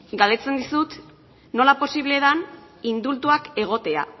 galdetzen dizut nola posible den indultuak egotea